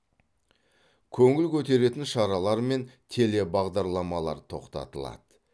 көңіл көтеретін шаралар мен телебағдарламалар тоқтатылады